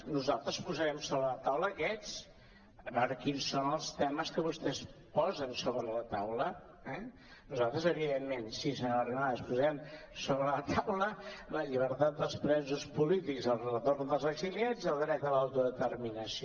nosaltres posarem sobre la taula aquests a veure quins són els temes que vostès posen sobre la taula eh nosaltres evidentment sí senyora arrimadas posarem sobre la taula la llibertat dels presos polítics el retorn dels exiliats i el dret a l’autodeterminació